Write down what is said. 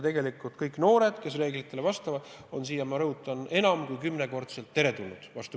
Tegelikult kõik noored, kes nõuetele vastavad, on siia, ma rõhutan, enam kui kümnekordselt teretulnud.